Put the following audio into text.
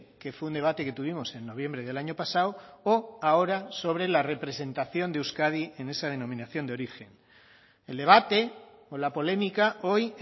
que fue un debate que tuvimos en noviembre del año pasado o ahora sobre la representación de euskadi en esa denominación de origen el debate o la polémica hoy